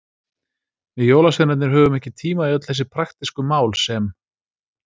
Við jólasveinarnir höfum ekki tíma í öll þessi praktísku mál sem.